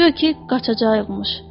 Guya ki qaçacağaymış.